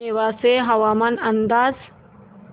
नेवासे हवामान अंदाज